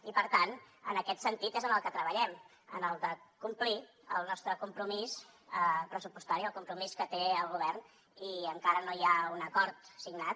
i per tant en aquest sentit és en el que treballem en el de complir el nostre compromís pressupostari el compromís que té el govern i encara no hi ha un acord signat